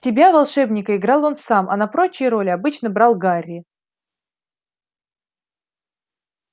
себя волшебника играл он сам а на прочие роли обычно брал гарри